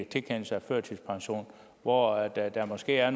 tilkendelse af førtidspension hvor der der måske er